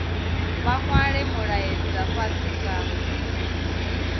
vha nwale mulaedza fhasi nga